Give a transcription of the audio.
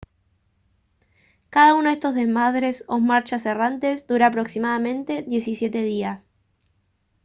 cada uno de estos desmadres o marchas errantes dura aproximadamente 17 días